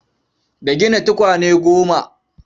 Da gina tukwane goma.